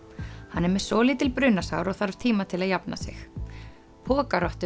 hann er með svolítil brunasár og þarf tíma til að jafna sig